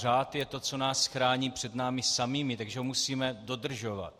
Řád je to, co nás chrání před námi samými, takže ho musíme dodržovat.